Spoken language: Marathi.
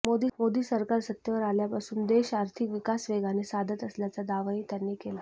मोदी सरकार सत्तेवर आल्यापासून देश आर्थिक विकास वेगाने साधत असल्याचा दावाहीं त्यांनी केला